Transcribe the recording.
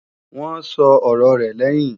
Wọ́n sọ ọ̀rọ rẹ̀ lẹ́yìn